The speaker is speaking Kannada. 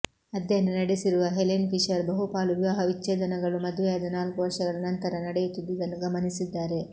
ಅಧ್ಯಯನ ನಡೆಸಿರುವ ಹೆಲೆನ್ ಫಿಶರ್ ಬಹುಪಾಲು ವಿವಾಹ ವಿಚ್ಛೇದನಗಳು ಮದುವೆಯಾದ ನಾಲ್ಕುವರ್ಷಗಳ ನಂತರ ನಡೆಯುತ್ತಿದ್ದುದನ್ನು ಗಮನಿಸಿದ್ದಾರೆ